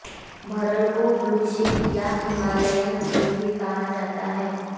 भरल को blue sheep या हिमालयन भेड़ भी कहा जाता है